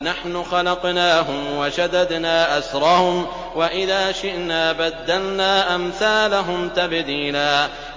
نَّحْنُ خَلَقْنَاهُمْ وَشَدَدْنَا أَسْرَهُمْ ۖ وَإِذَا شِئْنَا بَدَّلْنَا أَمْثَالَهُمْ تَبْدِيلًا